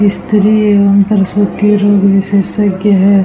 स्त्री और पुरुष रोग के जो विशेषज्ञ है।